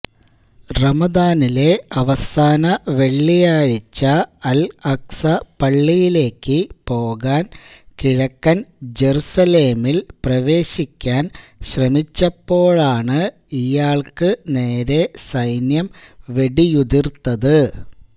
റമദാനിലെ അവസാന വെള്ളിയാഴ്ച അല് അഖ്സ പള്ളിയിലേക്ക് പോകാന് കിഴക്കന് ജെറൂസലേമില് പ്രവേശിക്കാന് ശ്രമിച്ചപ്പോളാണ് ഇയാള്ക്ക് നേരെ സൈന്യം വെടിയുതിര്ത്തത്